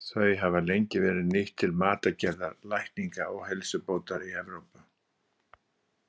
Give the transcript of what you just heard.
Þau hafa lengi verið nýtt til matargerðar, lækninga og heilsubótar í Evrópu.